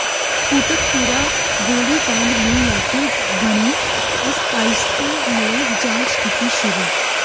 ਕੋਟਕਪੂਰਾ ਗੋਲੀ ਕਾਂਡ ਨੂੰ ਲੈਕੇ ਬਣੀ ਐਸਆਈਟੀ ਨੇ ਜਾਂਚ ਕੀਤੀ ਸ਼ੁਰੂ